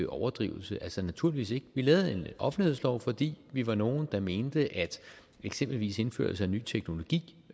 overdrivelse naturligvis ikke vi lavede en offentlighedslov fordi vi var nogle der mente at eksempelvis indførelse af ny teknologi